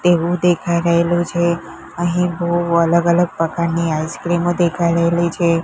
તેવુ દેખાય રહેલુ છે અહીં બૌ અલગ અલગ પ્રકારની આઇસ્ક્રીમો દેખાય રહેલી છે.